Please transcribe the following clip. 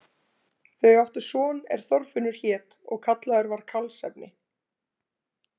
Þau áttu son er Þorfinnur hét og kallaður var karlsefni.